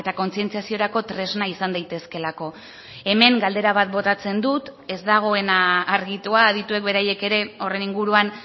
kontzientziaziorako tresna izan daitezkeelako hemen galdera bat botatzen dut ez dagoena argitua adituek beraiek ere horren inguruan